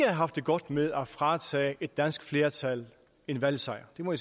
haft det godt med at fratage et dansk flertal en valgsejr det må